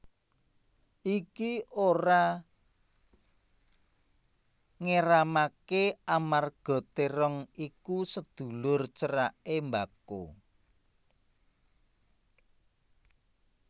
Iki ora ngéramaké amarga térong iku sedulur ceraké mbako